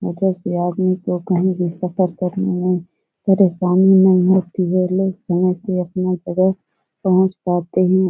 जैसे आदमी को कही भी सतर्क रहने हो परेशानी में पहुंच पाते हैं।